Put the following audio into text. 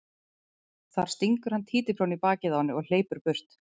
Þar stingur hann títuprjóni í bakið á henni og hleypur burt.